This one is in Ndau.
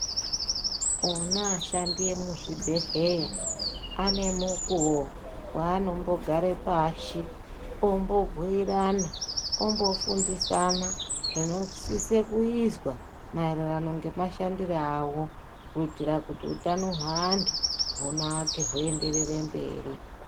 Ona ashandi emuzvibhedhlera, ane mukuwo weanombogare pashi ombobhuyirana, ombofundisana zvinosise kuizwa maererano ngemashandire awo, kuitira kuti hutano hweantu hunake huenderere mberi.